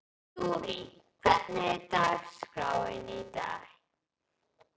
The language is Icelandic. Þurí, hvernig er dagskráin í dag?